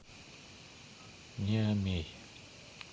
ниамей